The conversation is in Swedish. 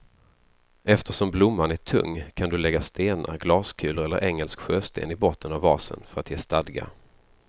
Eftersom blomman är tung kan du lägga stenar, glaskulor eller engelsk sjösten i botten av vasen för att ge stadga.